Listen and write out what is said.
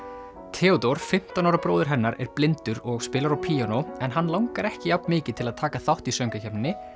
Theódór fimmtán ára bróðir hennar er blindur og spilar á píanó en hann langar ekki jafn mikið til að taka þátt í söngvakeppninni